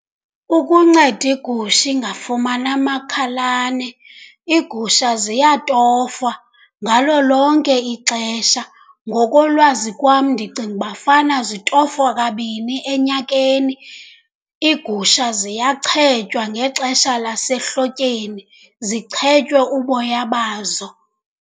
Ukunceda igusha ingafumani amakhalane, iigusha ziyatofwa ngalo lonke ixesha. Ngokolwazi kwam ndicinga uba fana zitofwa kabini enyakeni. Iigusha ziyachetywa ngexesha lasehlotyeni, zichetywa uboya bazo.